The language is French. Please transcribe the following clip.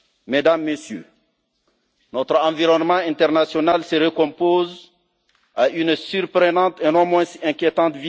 Mesdames, Messieurs, notre environnement international se recompose à une vitesse surprenante et non moins inquiétante.